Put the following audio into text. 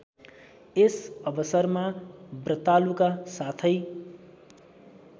यसअवसरमा व्रतालुका साथै